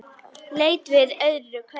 Leit við öðru hverju.